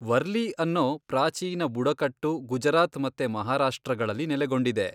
ವರ್ಲಿ ಅನ್ನೋ ಪ್ರಾಚೀನ ಬುಡಕಟ್ಟು ಗುಜರಾತ್ ಮತ್ತೆ ಮಹಾರಾಷ್ಟ್ರಗಳಲ್ಲಿ ನೆಲೆಗೊಂಡಿದೆ.